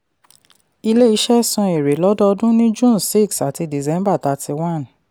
ilé-iṣẹ́ san èrè lọ́dọọdún ní june six àti december thirty one